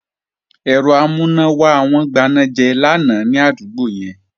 Òponá wọn gbiná ládúgbò yẹn lánàá